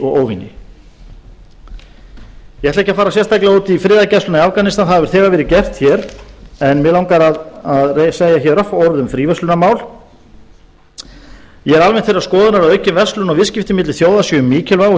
óvini ég ætla ekki að fara sérstaklega út í friðargæsluna í afganistan það hefur þegar verið gert hér en mig langar að segja örfá orð um fríverslunarmál ég er almennt þeirrar skoðunar að aukin verslun og viðskipti milli þjóða séu mikilvæg